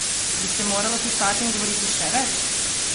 Bi se moralo pisati in govoriti še več?